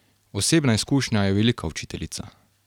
Osebna izkušnja je velika učiteljica.